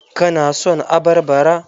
Ka na son abarbara?